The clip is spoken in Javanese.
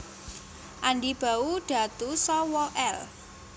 Andi Bau Datu Sawa L